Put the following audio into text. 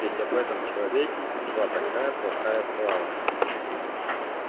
ведь об этом человеке шла такая плохая слава